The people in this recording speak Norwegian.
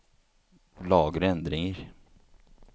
Lagre endringer